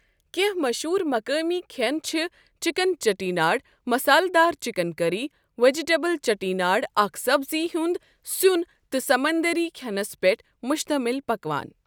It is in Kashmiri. کینٛہہ مشہوٗر مقٲمی کھٮ۪ن چھِ چکن چیٹیناڈ مسالہٕ دار چکن کری ویجیٹیبل چیٹیناڈ اکھ سبزی ہُنٛد سُین تہٕ سمندری کھٮ۪نَس پٮ۪ٹھ مشتمِل پکوان۔